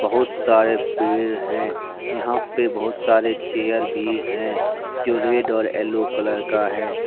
बहुत सारे पेड़ है। यहा पे बहोत सारे चेयर भी है जो रेड और येलो कलर का है।